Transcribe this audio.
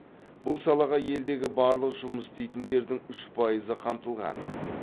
бұл салаға елдегі барлық жұмыс істейтіндердің үш пайызы қамтылған